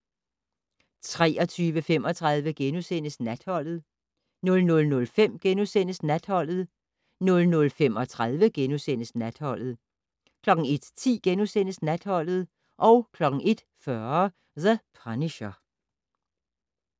23:35: Natholdet * 00:05: Natholdet * 00:35: Natholdet * 01:10: Natholdet * 01:40: The Punisher